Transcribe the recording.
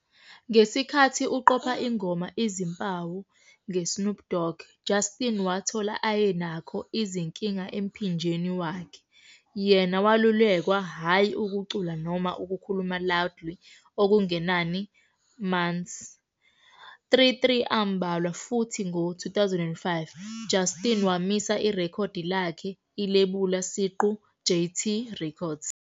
Ngesikhathi uqopha ingoma "Izimpawu" nge Snoop Dog, Justin wathola ayenakho izinkinga emphinjeni wakhe. Yena welulekwa hhayi ukucula noma ukukhuluma loudly okungenani months.33 ambalwa Futhi ngo-2005, Justin wamisa irekhodi lakhe ilebula siqu, JayTee Records.